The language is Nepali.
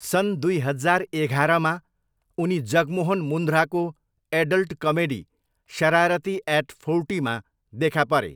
सन् दुई हजार एघारमा, उनी जगमोहन मुन्ध्राको एडल्ट कमेडी, शरारती एट फोर्टीमा देखा परे।